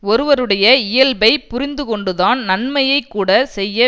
ஒருவருடைய இயல்பைப் புரிந்து கொண்டுதான் நன்மையை கூட செய்ய